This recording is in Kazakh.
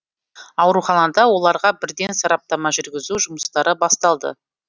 ауруханада оларға бірден сараптама жүргізу жұмыстары басталды